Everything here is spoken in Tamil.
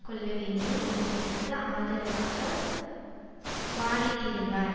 கொள்ளவேண்டும் என்பதற்கு ஆதரவாக வாதிட்டிருந்தார்